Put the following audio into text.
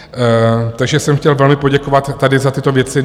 Takže jsem chtěl velmi poděkovat tady za tyto věci.